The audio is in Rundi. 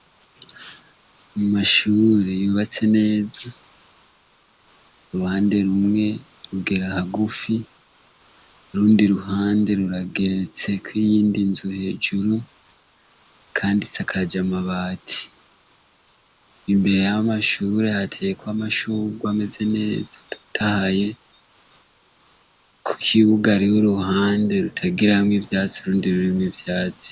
Mu mashure yubatse neza uruhande rumwe rugera ahagufi rundi ruhande rurageretseko iyindi nzu hejuru, kandi si akaja amabati imbere b'amashure hatekwa amashugwa ameze neza adutahye ku kiwugarih' uruhande rutagiraamwo ivyatsi urundi rurimwe ivyatsi.